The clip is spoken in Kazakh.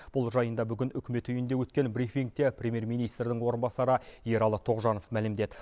бұл жайында бүгін үкімет үйінде өткен брифингте премьер министрдің орынбасары ералы тоғжанов мәлімдеді